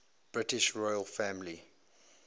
british royal family